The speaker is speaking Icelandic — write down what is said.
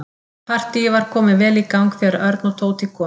Partíið var komið vel í gang þegar Örn og Tóti komu.